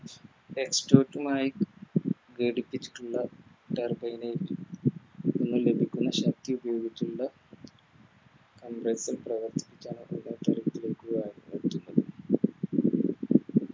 Exhaust mani ഘടിപ്പിച്ചിട്ടുള്ള Turbo